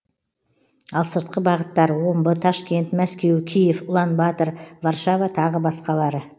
ал сыртқы бағыттар омбы ташкент мәскеу киев ұлан батыр варшава тағы басқалары